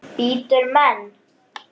Bítur menn?